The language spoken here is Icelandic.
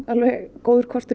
góður kostur